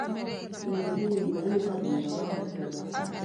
Mbembe nĩ ngũrũ nĩ kahinda ga kũgetha.